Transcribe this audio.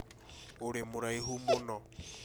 ũrĩ mũraihu mũno